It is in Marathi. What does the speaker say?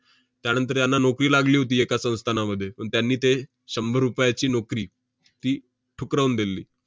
त्यानंतर यांना नोकरी लागली होती एका संस्थानामध्ये, पण त्यांनी ते शंभर रुपयाची नोकरी ती ठुकरावून दिली.